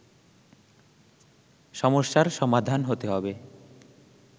সমস্যার সমাধান হতে হব